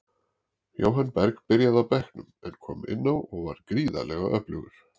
Jóhann Berg byrjaði á bekknum, en kom inn á og var gríðarlega öflugur.